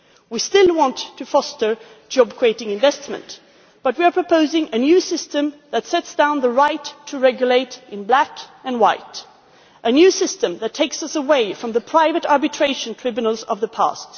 We still want to foster job creating investment but we are proposing a new system that sets down the right to regulate in black and white a new system that takes us away from the private arbitration tribunals of the past.